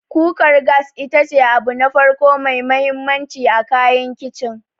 Kukar gas ita ce abu na farko mai mahimmanci a kayan Kicin.